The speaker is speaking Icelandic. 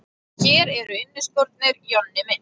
Hér eru inniskórnir, Jonni minn!